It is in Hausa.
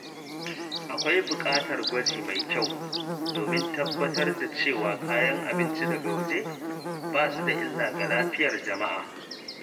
Akwai buƙatar gwaji mai kyau domin tabbatar da cewa kayan abinci daga waje ba su da illa ga lafiyar jama’a.